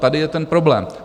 Tady je ten problém.